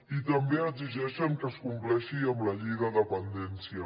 i també exigeixen que es compleixi amb la llei de dependència